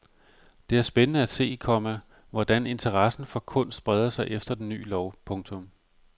Det er spændende at se, komma hvordan interessen for kunst breder sig efter den ny lov. punktum